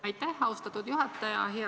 Aitäh, austatud juhataja!